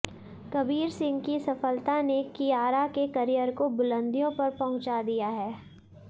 कबीर सिंह की सफलता ने कियारा के करियर को बुलंदियों पर पहुंचा दिया है